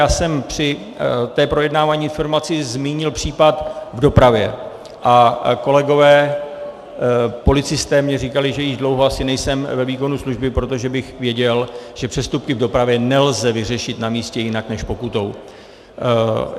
Já jsem při tom projednávání informace zmínil případ v dopravě a kolegové policisté mi říkají, že již dlouho asi nejsem ve výkonu služby, protože bych věděl, že přestupky v dopravě nelze vyřešit na místě jinak než pokutou.